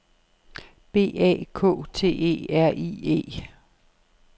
B A K T E R I E